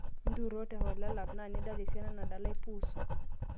intururo teholelav naa nidala esiana nadalae pus